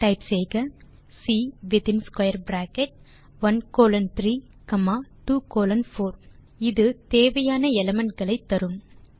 type செய்க the command within square bracket 1 colon 3 comma 2 colon 4 இது தேவையான எலிமெண்ட் களை தரும்